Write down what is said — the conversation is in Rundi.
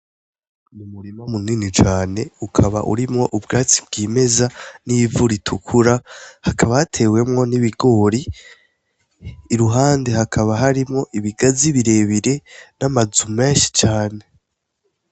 Umurima munini cane, ukaba urimwo ubwatsi bw'imeza n'ivu ritukura, hakaba hatewemwo n'ibigori. Iruhande hakaba harimwo ibigazi birebire n'amazu menshi cane.